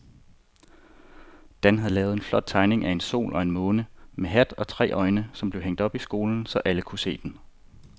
Dan havde lavet en flot tegning af en sol og en måne med hat og tre øjne, som blev hængt op i skolen, så alle kunne se den.